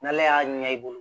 N'ale y'a ɲɛ i bolo